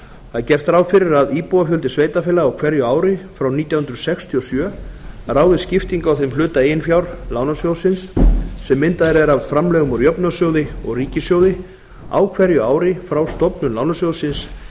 það er gert ráð fyrir að íbúafjöldi sveitarfélaga á hverju ári frá nítján hundruð sextíu og sjö ráði skiptingu á þeim hluta eigin fjár lánasjóðsins sem myndaður er af framlögum úr jöfnunarsjóði og ríkissjóði á hverju ári frá stofnun lánasjóðsins